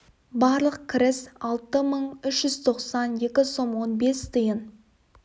барлық кіріс алты мың үш жүз тоқсан екі сом он бес тиын